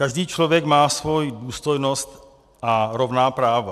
Každý člověk má svoji důstojnost a rovná práva.